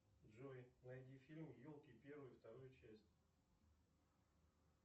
джой найди фильм елки первую и вторую часть